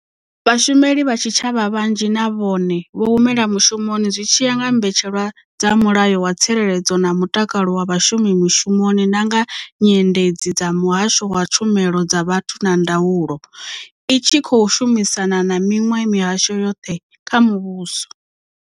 Vhashumeli vha tshitshavha vhanzhi na vhone vho humela mushumoni zwi tshi ya nga mbetshelwa dza Mulayo wa Tsireledzo na Mutakalo wa Vhashumi Mushumoni na nga nyendedzi dza Muhasho wa Tshumelo dza Vhathu na Ndaulo, i tshi khou shumisana na miṅwe mihasho yoṱhe kha muvhuso.